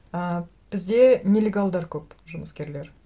ы бізде нелегалдар көп жұмыскерлер